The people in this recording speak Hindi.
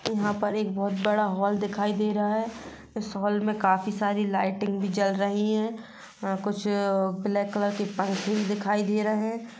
यहाँ पर एक बहोत बड़ा हॉल दिखाई दे रहा हैं इस हॉल मे काफी सारी लाइटिंग भी जल रही हैं अ कुछ ब्लैक कलर के पंपकिन दिखाई दे रहे हैं।